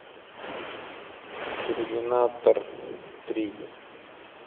терминатор три